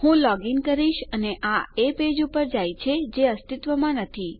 હું લોગઇન કરીશ અને આ એ પેજ પર જાય છે જે અસ્તિત્વમાં નથી